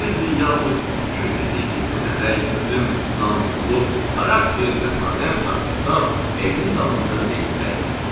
100 illik, yaxud 200 illik irsi əmək, dözüm, namusluluq, xarakter, mətanət, haqq-hesab evin damında leylək.